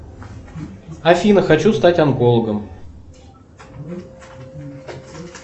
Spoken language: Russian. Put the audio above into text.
афина хочу стать онкологом